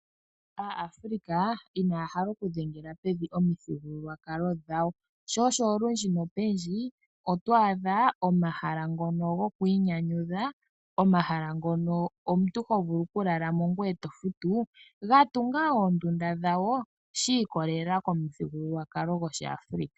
Aafrika inaya hala oku dhengela pevi omithigululwakalo dhawo sho osho olundji nopendji oto adha omahala ngono goku inyanyudha, omahala ngono omuntu ho vulu oku lalamo ngoye to futu ga tunga oondunda dhawo shi ikolela komuthigululwakalo goshiAfrika.